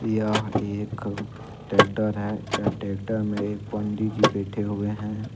यह एक ट्रैक्टर है यह ट्रैक्टर में एक पंडित जी बैठे हुए हैं।